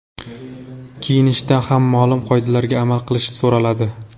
Kiyinishda ham ma’lum qoidalarga amal qilish so‘raladi.